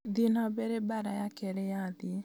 thiĩ na mbere mbaara ya kerĩ ya thĩĩ